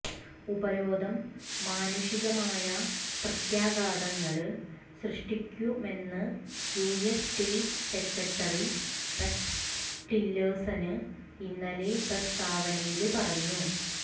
ഉപരോധം മാനുഷികമായ പ്രത്യാഘാതങ്ങള് സൃഷ്ടിക്കുമെന്ന് U S state secretary Rex Tillerson ഇന്നലെ പ്രസ്താവനയില് പറഞ്ഞു